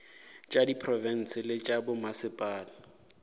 tša diprofense le tša bommasepala